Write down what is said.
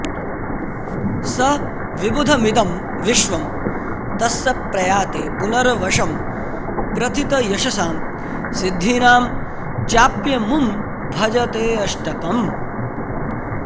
सविबुधमिदं विश्वं तस्य प्रयाति पुनर्वशं प्रथितयशसां सिद्धीनां चाप्यमुं भजतेऽष्टकम्